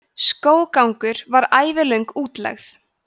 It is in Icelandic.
skóggangur var ævilöng útlegð